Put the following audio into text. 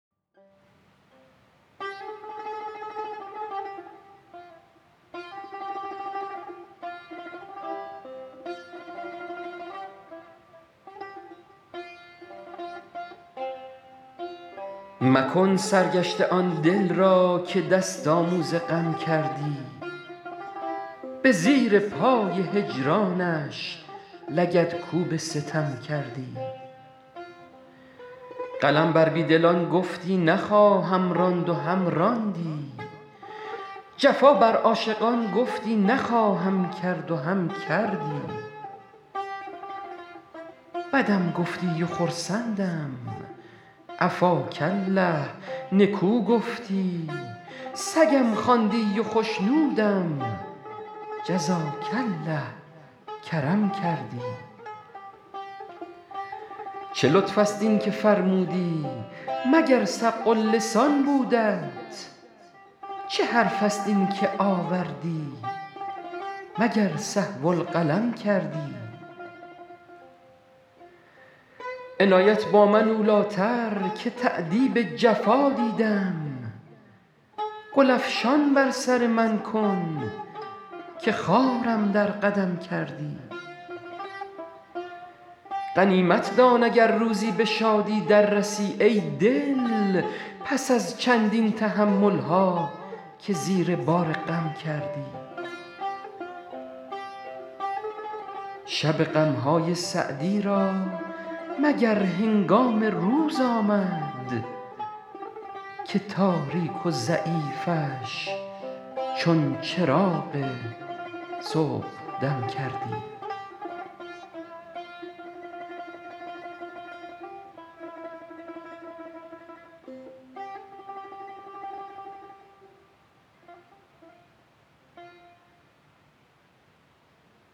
مکن سرگشته آن دل را که دست آموز غم کردی به زیر پای هجرانش لگدکوب ستم کردی قلم بر بی دلان گفتی نخواهم راند و هم راندی جفا بر عاشقان گفتی نخواهم کرد و هم کردی بدم گفتی و خرسندم عفاک الله نکو گفتی سگم خواندی و خشنودم جزاک الله کرم کردی چه لطف است این که فرمودی مگر سبق اللسان بودت چه حرف است این که آوردی مگر سهو القلم کردی عنایت با من اولی تر که تأدیب جفا دیدم گل افشان بر سر من کن که خارم در قدم کردی غنیمت دان اگر روزی به شادی در رسی ای دل پس از چندین تحمل ها که زیر بار غم کردی شب غم های سعدی را مگر هنگام روز آمد که تاریک و ضعیفش چون چراغ صبحدم کردی